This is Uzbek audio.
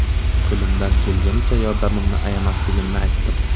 Qo‘limdan kelganicha yordamimni ayamasligimni aytdim.